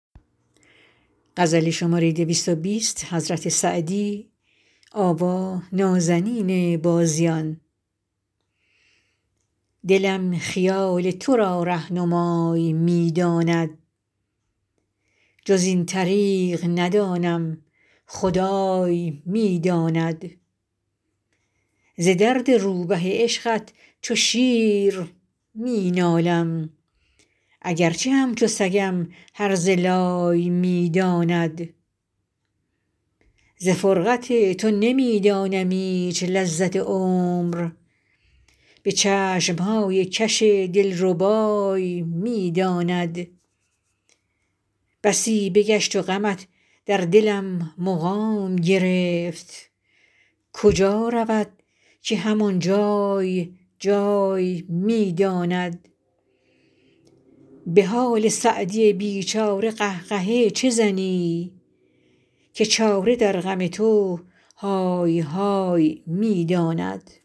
دلم خیال تو را رهنمای می داند جز این طریق ندانم خدای می داند ز درد روبه عشقت چو شیر می نالم اگر چه همچو سگم هرزه لای می داند ز فرقت تو نمی دانم ایچ لذت عمر به چشم های کش دل ربای می داند بسی بگشت و غمت در دلم مقام گرفت کجا رود که هم آن جای جای می داند به حال سعدی بی چاره قه قهه چه زنی که چاره در غم تو های های می داند